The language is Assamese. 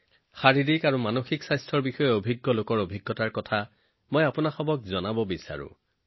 শাৰীৰিক স্বাস্থ্য আৰু মানসিক স্বাস্থ্যৰ বিষয়ে বিশিষ্ট ব্যক্তিসকলৰ অভিজ্ঞতাও আপোনালোকৰ লগত শ্বেয়াৰ কৰিব বিচাৰিছো